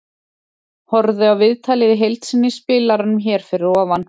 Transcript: Horfðu á viðtalið í heild sinni í spilaranum hér fyrir ofan.